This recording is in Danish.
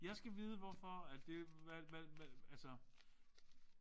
Jeg skal vide hvorfor at det hvad hvad hvad altså